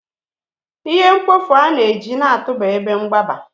ihe mkpofu a na-eji na-atụba ebe mgbaba